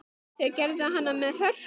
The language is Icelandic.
Það gerði hann með hörku.